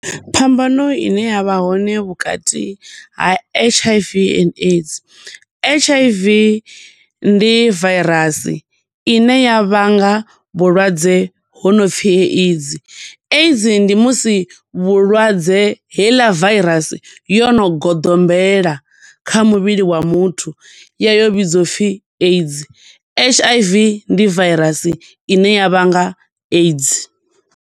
Phambano ine ya vha hone vhukati ha H_I_V and AIDS. H_I_V ndi virus, ine ya vhanga vhulwadze ho no pfi AIDS. AIDS ndi musi vhulwadze heiḽa virus yono goḓombela kha muvhili wa muthu, ya yo vhidziwa upfi AIDS. H_I_V ndi virus ine ya vhanga AIDS.